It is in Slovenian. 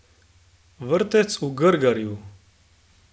Vrtec v Grgarju?